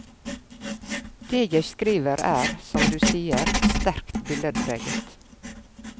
Det jeg skriver er, som du sier, sterkt billedpreget.